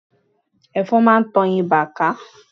Ẹ̀fọn máa ń tan ibà ká.